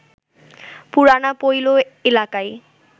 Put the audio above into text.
পুরানা পৈল এলাকায়